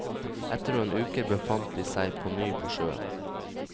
Etter noen uker befant de seg på ny på sjøen.